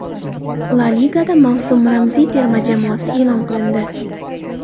La Ligada mavsum ramziy terma jamoasi e’lon qilindi.